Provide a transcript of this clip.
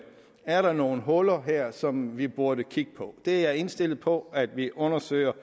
er der nogle huller her som vi burde kigge på det er jeg indstillet på at vi undersøger